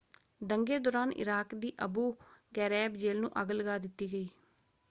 ਦੰਗੇ ਦੌਰਾਨ ਇਰਾਕ ਦੀ ਅਬੂ ਗ਼ੈਰੈਬ ਜੇਲ੍ਹ ਨੂੰ ਅੱਗ ਲੱਗਾ ਦਿੱਤੀ ਗਈ।